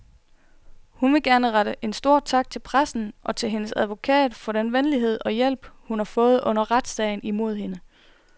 Hun vil gerne rette en stor tak til pressen og til hendes advokat for den venlighed og hjælp, hun har fået under retssagen imod hende.